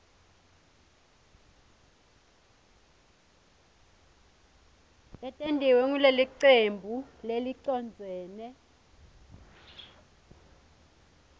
letentiwe ngulelicembu lelicondzene